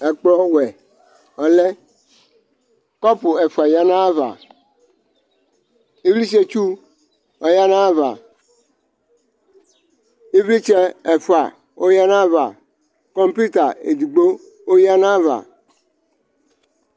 Ɛkplɔ ɔwɛ ɔlɛ Kɔpʋ ɛfʋa yǝ nʋ ayʋ ava Ivlitsɛtsu, oyǝ nʋ ayʋ ava Ivlitsɛ ɛfʋa, oyǝ nʋ ayʋ ava Kɔŋpɩʋta edigbo, oyǝ nʋ ayʋ ava